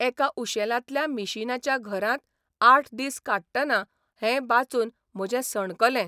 एका उशेलांतल्या मिशिनाच्या घरांत आठ दीस काडटना हैं वाचून म्हजें सणकलें.